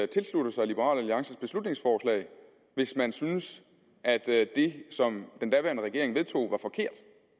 tilslutte sig liberal alliances beslutningsforslag hvis man synes at det som den daværende regering vedtog var forkert